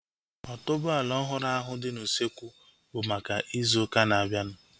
Otuboala ọhụrụ ahu dị n'usekwu bụ maka ịzụ ụka na-abianu